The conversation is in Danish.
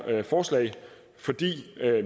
forslag fordi